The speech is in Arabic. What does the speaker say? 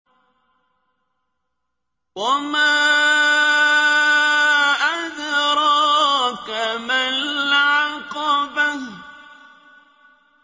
وَمَا أَدْرَاكَ مَا الْعَقَبَةُ